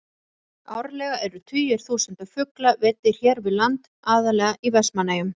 Árlega eru tugir þúsunda fugla veiddir hér við land, aðallega í Vestmannaeyjum.